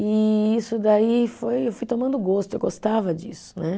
E isso daí foi, eu fui tomando gosto, eu gostava disso, né?